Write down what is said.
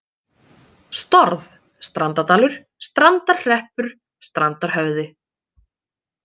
Storð, Strandardalur, Strandarhreppur, Strandarhöfði